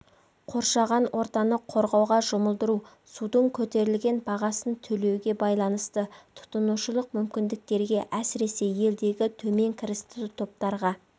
қоршаған ортаны қорғауға жұмылдыру судың көтерілген бағасын төлеуге байланысты тұтынушылық мүмкіндіктерге әсіресе елдегі төмен кірісті топтарға